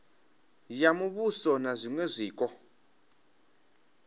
ya muvhuso na zwiṅwe zwiko